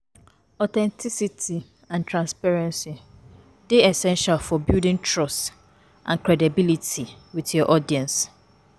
Authenticity and transparency dey essential for building trust and credibility with your audience.